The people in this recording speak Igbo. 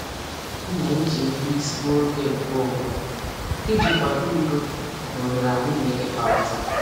M na-eji ekweisi n'oge nkeonwe iji kwado udo na oghere anyị na-ekekọrịta.